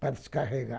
Para descarregar.